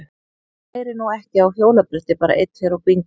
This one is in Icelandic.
Maður lærir nú ekki á hjólabretti bara einn tveir og bingó!